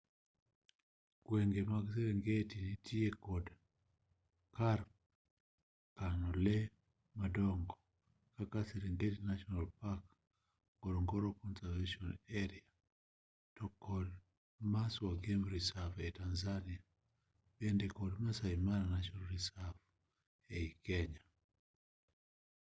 gwenge mag serengeti nitiere kod kar kano lee madongo kaka serengeti national park ngorongoro conservation area to kod maswa game reserve ei tanzania bende kod maasai mara national reserve ei kenya